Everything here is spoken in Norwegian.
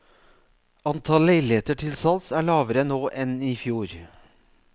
Antall leiligheter til salgs er lavere nå enn i fjor.